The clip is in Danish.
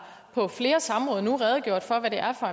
på flere samråd redegjort for hvad det er for